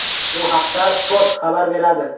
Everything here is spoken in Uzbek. Bu haqda Spot xabar beradi .